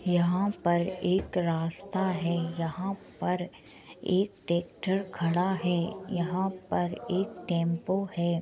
यहाँ पर एक रास्ता है। यहाँ पर एक ट्रैक्टर खड़ा है। यहाँ पर एक टेम्पो है।